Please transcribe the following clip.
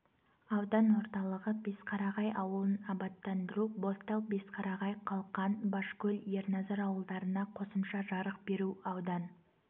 аудан орталығы бесқарағай ауылын абаттандыру бозтал бесқарағай қалқан башкөл ерназар ауылдарына қосымша жарық беру аудан